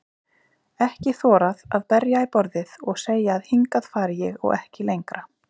Ekki þorað að berja í borðið og segja að hingað fari ég og ekki lengra.